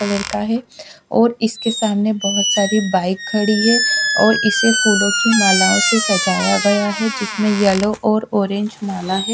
Colour का है और इसके सामने बहोत सारी बाइक खड़ी है और इसे फूलों की मालाओं से सजाया गया है जिसमें येलो और ऑरेंज माला है।